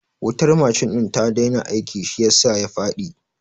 Wutar machine ɗin ta daina aiki shi yasa ya faɗi